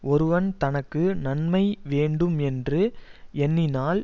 ஒருவன் தனக்கு நன்மை வேண்டும் என்று எண்ணினால்